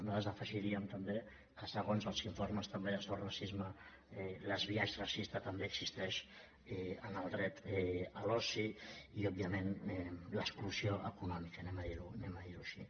nosaltres afegiríem també que segons els informes de sos racisme el biaix racista també existeix en el dret a l’oci i òbviament l’exclusió econòmica diguem ho així